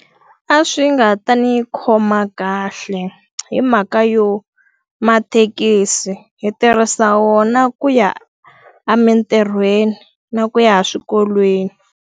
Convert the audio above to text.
A swi nga ta ni khoma kahle hi mhaka yo, mathekisi hi tirhisa wona ku ya emintirhweni na ku ya a swikolweni.